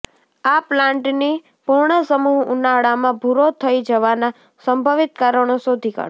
આ પ્લાન્ટની પર્ણસમૂહ ઉનાળામાં ભુરો થઈ જવાના સંભવિત કારણો શોધી કાઢો